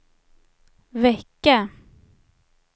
vecka